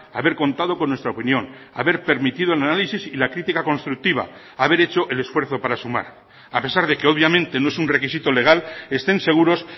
haber contado con nuestra opinión haber permitido el análisis y la crítica constructiva haber hecho el esfuerzo para sumar a pesar de que obviamente no es un requisito legal estén seguros